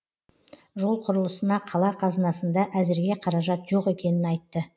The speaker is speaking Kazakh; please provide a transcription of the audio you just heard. жол құрылысына қала қазынасында әзірге қаражат жоқ екенін айтты